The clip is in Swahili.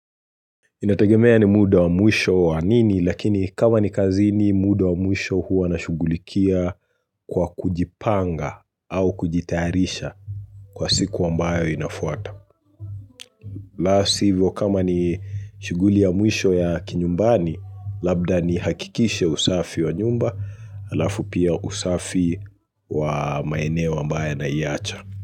Inategemea ni muda wa mwisho wa nini lakini kama ni kazini muda wa mwisho huwa na shughulikia kwa kujipanga au kujitarisha kwa siku ambayo inafuata. La sivyo kama ni shughuli ya mwisho ya kinyumbani labda nihakikishe usafi wa nyumba alafu pia usafi wa maeneo ambao naiacha.